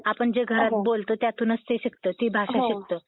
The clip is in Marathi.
आपण घरात जे बोलतो त्यातूनच ते शिकतं. ती भाषा शिकतं.